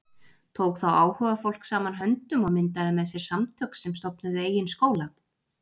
Tók þá áhugafólk saman höndum og myndaði með sér samtök sem stofnuðu eigin skóla.